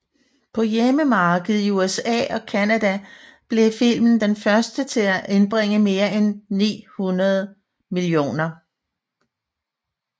På hjemmemarkedet i USA og Canada blev filmen den første til at indbringe mere end 900 mio